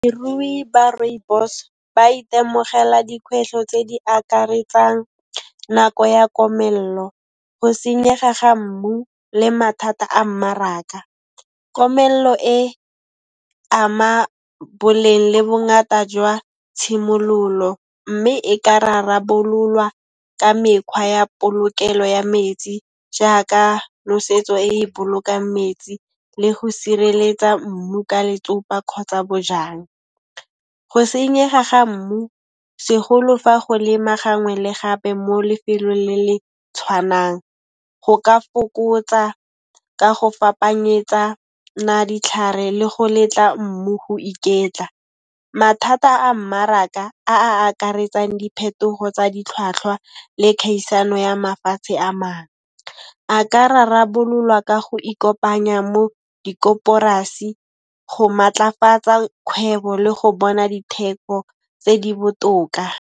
Ba Rooibos ba itemogela dikhwehlo tse di akaretsang nako ya komello, go senyega ga mmu le mathata a mmaraka. Komello e ama boleng le bongata jwa tshimololo, mme e ka rarabololwa ka mekhwa ya polokelo ya metsi jaaka nosetso e e bolokang metsi le go sireletsa mmu ka letsopa kgotsa bojang. Go senyega ga mmu segolo fa go lema gangwe le gape mo lefelong le le tshwanang, go ka fokotsa ka go fapanyetsana ditlhare le go letla mmu go iketla. Mathata a mmaraka a a akaretsang diphetogo tsa ditlhwatlhwa le khaisano ya mafatshe a mang, a ka rarabololwa ka go ikopanya mo di koporasi go maatlafatsa kgwebo le go bona ditheko tse di botoka.